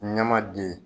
Ɲɛma den